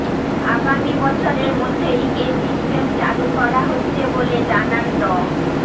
আগামী বছরের মধ্যেই এ সিস্টেম চালু করা হচ্ছে বলে জানান ড